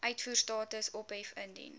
uitvoerstatus ophef indien